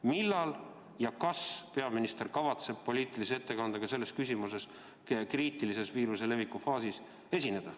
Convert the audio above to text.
Millal ja kas peaminister kavatseb esineda poliitilise ettekandega selles küsimuses kriitilises viiruse leviku faasis?